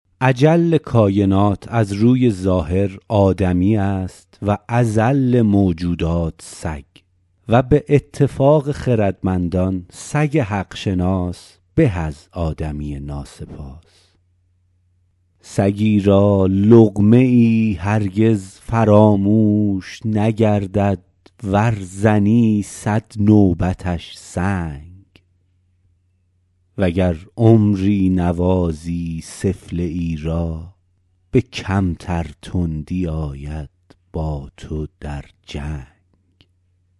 اجل کاینات از روی ظاهر آدمیست و اذل موجودات سگ و به اتفاق خردمندان سگ حق شناس به از آدمی ناسپاس سگی را لقمه ای هرگز فراموش نگردد ور زنی صد نوبتش سنگ و گر عمری نوازی سفله ای را به کمتر تندی آید با تو در جنگ